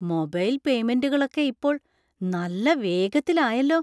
Mobile പേയ്മെന്‍റുകളൊക്കെ ഇപ്പോൾ നല്ല വേഗത്തിലായല്ലോ.